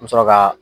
N mi sɔrɔ ka